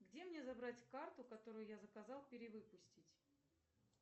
где мне забрать карту которую я заказал перевыпустить